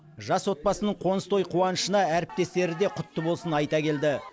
жас отбасының қоныс той қуанышына әріптестері де құтты болсын айта келді